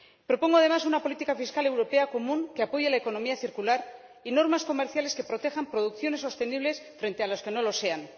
Propongo, además, una política fiscal europea común que apoye la economía circular y normas comerciales que protejan producciones sostenibles frente a las que no lo sean.